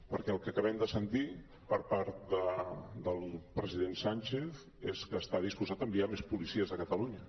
perquè el que acabem de sentir per part del president sánchez és que està disposat a enviar més policies a catalunya